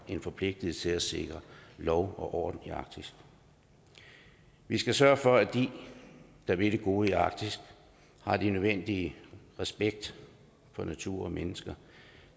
en forpligtelse til at sikre lov og orden i arktis vi skal sørge for at de der vil det gode i arktis har den nødvendige respekt for natur og mennesker